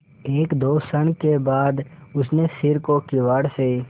एकदो क्षण बाद उसने सिर को किवाड़ से